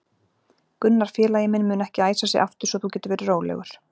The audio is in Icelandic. Gunnar félagi minn mun ekki æsa sig aftur svo þú getur verið rólegur.